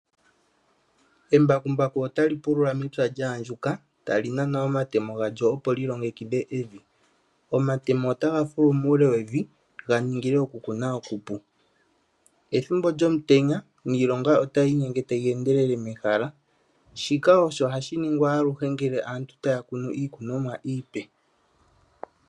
Embakumbaku ota li pulula mepya lyaandjuka ta li nana omatemo galyo opo li longekidhe evi, omatemo ota ga fulu muule wevi ga ningile okukuna okupu ethimbo lyomutenya niilonga ota yi yiinyenge tayi endelele mehala shika osho hashi ningwa aluhe ngele aantu taya kunu iikunomwa iipe.